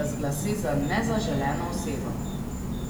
razglasi za nezaželeno osebo.